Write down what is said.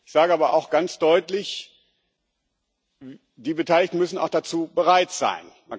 Ich sage aber auch ganz deutlich Die Beteiligten müssen auch dazu bereit sein.